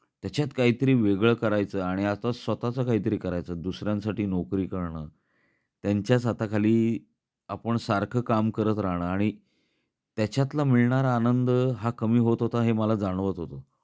त्याच्यात काहीतरी वेगळ करायच आणि आता स्वतःच काहीतरी करायच, दुसऱ्यांसाठी नोकरी करण, त्यांच्याच हाताखाली आपण सारख काम करत राहण आणि त्याच्यातला मिळणारा आनंद हा कमी होत होता हे मला जाणवत होत.